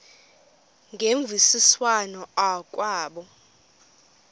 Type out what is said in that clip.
ngemvisiswano r kwabo